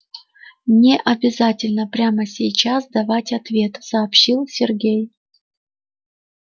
не обязательно прямо сейчас давать ответ сообщил сергей